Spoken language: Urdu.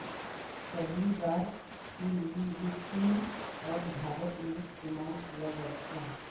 پہلی بار کے لئے یہ چین اور بھارت میں استعمال کیا گیا تھا